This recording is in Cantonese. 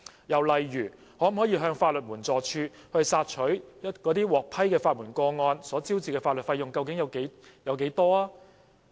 又例如，可否向法律援助署查詢，獲批的法援個案所招致的法律費用有多少？